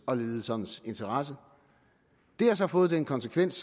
og ledelsernes interesse det har så fået den konsekvens